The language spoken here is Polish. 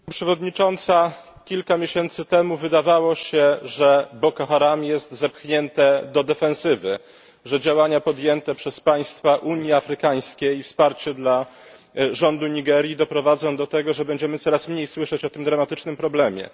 Pani Przewodnicząca! Kilka miesięcy temu wydawało się, że Boko Haram jest zepchnięte do defensywy, że działania podjęte przez państwa Unii Afrykańskiej i wsparcie dla rządu Nigerii doprowadzą do tego, że będziemy coraz mniej słyszeć o tym dramatycznym problemie.